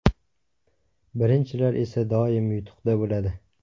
Birinchilar esa doim yutuqda bo‘ladi!